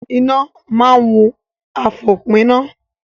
Iná máa wun àfòpiná.